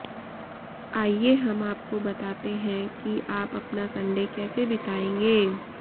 आईए हम आपको बताते हैं कि आप अपना संडे कैसे बिताएंगे